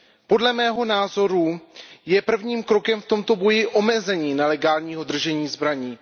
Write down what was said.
Podle mého názoru je prvním krokem v tomto boji omezení nelegálního držení zbraní.